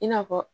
I n'a fɔ